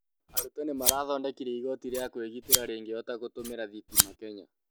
arutwo nĩmarathondekire igoti rĩa kwĩgitĩra rĩngĩhota gũtũmĩra thitima Kenya